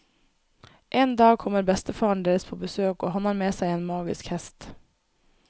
En dag kommer bestefaren deres på besøk og han har med seg en magisk hest.